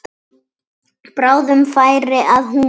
Bráðum færi að húma.